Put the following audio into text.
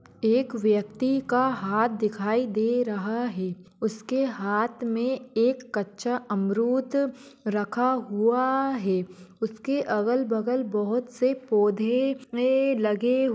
एक वेक्ती का हात दिखाई दे रहा है। उसके हात मे एक कच्चा अमरूत रखा हुआ है। उसके अगल बगल बोहत से पौधे लगे--